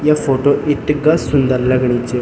या फोटो इथगा सुन्दर लगणी च।